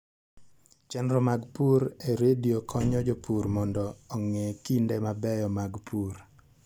Chenro mag pur e redio konyo jopur mondo ong'e kinde mabeyo mag pur.